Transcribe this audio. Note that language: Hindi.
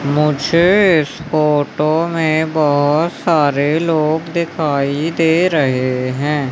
मुझे इस फोटो में बहुत सारे लोग दिखाई दे रहे हैं।